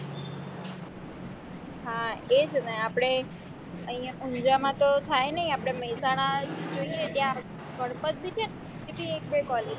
હા એ જ ને આપણે અહીંયા ઉંજાં માં તો થાય નઈ આપણે મેહસાણા જોઈએ ત્યાં ગણપત બી છે ને બીજી એક બે college